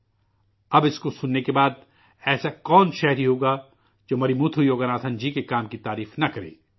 اب اسکو سننے کے بعد ایسا کون شہری ہوگا جو مرمتھو یوگناتھن جی کے کام کی تعریف نہ کرے